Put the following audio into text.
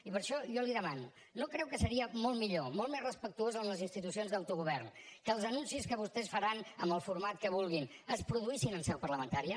i per això jo li demano no creu que seria molt millor molt més respectuós amb les institucions d’autogovern que els anuncis que vostès faran amb el format que vulguin es produïssin en seu parlamentària